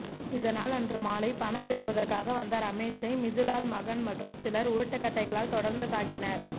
இதனால் அன்று மாலை பணம் பெறுவதற்காக வந்த ரமேஷை மிதுலால் மகன் மற்றும் சிலர் உருட்டுகட்டைகளால் தொடர்ந்து தாக்கினர்